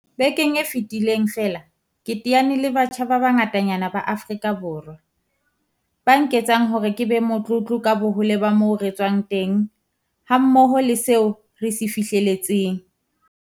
Bekeng e fetileng feela ke teane le batjha ba bangatanyana ba Aforika Borwa, ba nketsang hore ke be motlotlo ka bohole ba moo re tswang teng hammoho le seo re se fihlelletseng.